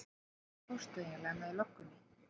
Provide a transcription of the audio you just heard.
Hvert fórstu eiginlega með löggunni?